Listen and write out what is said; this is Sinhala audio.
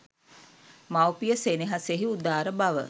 මවුපිය සෙනෙහසෙහි උදාරබව